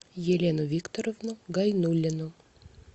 елену викторовну гайнуллину